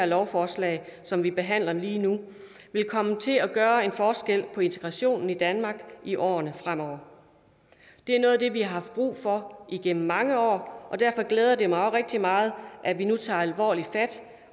lovforslag som vi behandler lige nu vil komme til at gøre en forskel for integrationen i danmark i årene fremover det er noget af det vi har haft brug for igennem mange år og derfor glæder det mig også rigtig meget at vi nu tager alvorligt fat